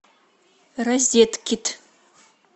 розеткед